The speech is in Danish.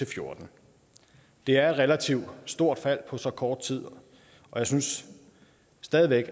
og fjorten det er et relativt stort fald på så kort tid og jeg synes stadig væk